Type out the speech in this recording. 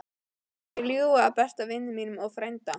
Heldurðu að ég ljúgi að besta vini mínum og frænda?